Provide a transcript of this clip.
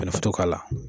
k'a la